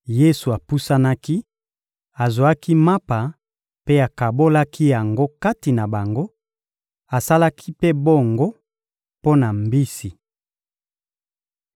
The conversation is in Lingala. Yesu apusanaki, azwaki mapa mpe akabolaki yango kati na bango; asalaki mpe bongo mpo na mbisi.